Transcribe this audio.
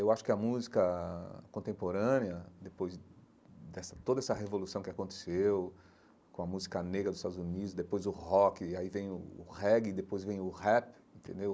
Eu acho que a música contemporânea, depois dessa toda essa revolução que aconteceu, com a música negra dos Estados Unidos, depois o rock, aí vem o o reggae, depois vem o rap, entendeu?